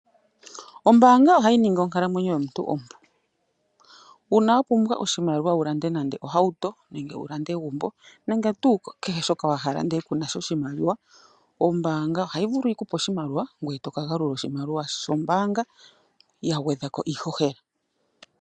Ombanga ohayi ningi onkalamwenyo yomuntu ompu, uuna wapumbwa oshimaliwa wu lande nande ohawuto nenge wulande egumbo nenge kehe shoka wa hala nde kuna sha oshimaliwa ombanga ohayi vulu yikupe oshimalia ngwe etoka galula oshimaliwa shombanga yagwedhako iihohela.